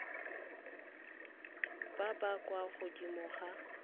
ba ba kwa godimo ga